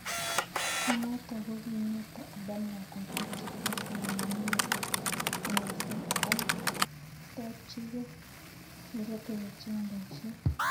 Kunotok kokimeto Adam lakwet ak chepyoset nyin ne yosat ak kotakchike Nairobi kocheng' boiset.